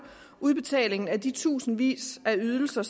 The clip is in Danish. udbetalingen af de tusindvis af ydelser